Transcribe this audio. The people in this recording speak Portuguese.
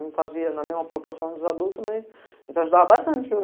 Não fazia na mesma proporção dos adultos, mas a gente ajudava bastante.